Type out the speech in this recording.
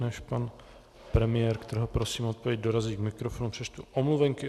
Než pan premiér, kterého prosím o odpověď, dorazí k mikrofonu, přečtu omluvenky.